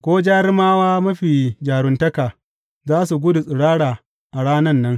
Ko jarumawa mafi jaruntaka za su gudu tsirara a ranan nan,